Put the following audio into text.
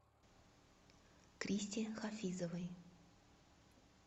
кристе хафизовой